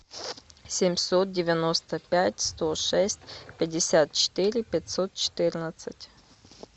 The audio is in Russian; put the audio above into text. семьсот девяносто пять сто шесть пятьдесят четыре пятьсот четырнадцать